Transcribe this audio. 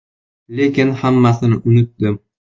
Lekin hammasini unutdim.